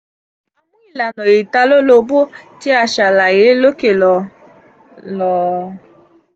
yí ilana italolobo ti a ṣalaye loke lọ lọ.